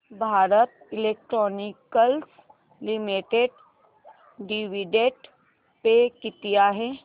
Bharat electronics limited dividend pay किती आहे